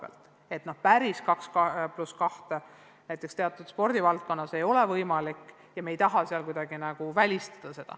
Ka teatud spordivaldkondades ei ole 2 + 2 reegli järgmine võimalik ja me ei taha nende tegevust kuidagi välistada.